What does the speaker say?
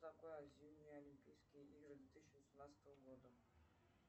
зимние олимпийские игры де тысячи восемнадцатого года